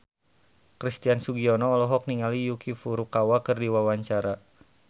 Christian Sugiono olohok ningali Yuki Furukawa keur diwawancara